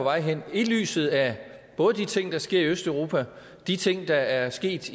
vej hen set i lyset af både de ting der sker i østeuropa og de ting der er sket